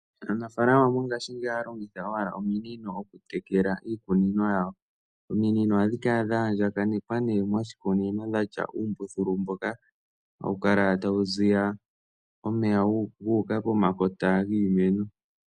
Aanafaalama mongaashingeyi ohaya longitha owala ominino oku tekela iikunino yawo. Ominino ohadhi kala dha andjakanekwa nee moshikunino dha tya uumbululu mboka hawu kala tawu ziya omeya gu uka pomakota giimeno.